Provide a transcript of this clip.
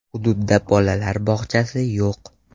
Hududdda bolalar bog‘chasi yo‘q.